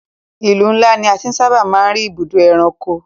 Ìlú ńlá ní a ti sábà máa ń rí ibùdó ẹranko.